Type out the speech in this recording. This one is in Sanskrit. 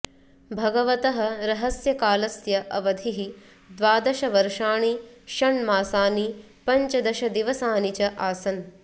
भगवतः रहस्यकालस्य अवधिः द्वादशवर्षाणि षण्मासानि पञ्चदशदिवसानि च आसन्